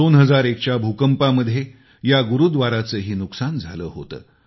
2001च्या भूकंपामध्ये या गुरूव्दाराचंही नुकसान झालं होतं